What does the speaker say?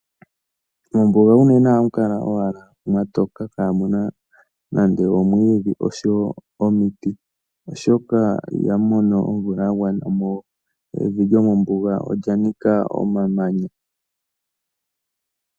Mombuga unene ohamu kala owala mwa toka kamu na nando omwiidhi osho wo omiti, oshoka ihamu mono omvula ya gwana mo evi lyomombuga olya nika omamanya.